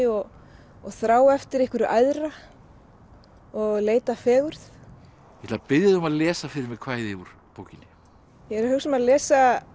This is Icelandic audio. og þrá eftir einhverju æðra og leit að fegurð ég ætla að biðja þig um að lesa fyrir mig kvæði úr bókinni ég er að hugsa um að lesa